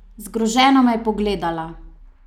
Zgroženo me je pogledala.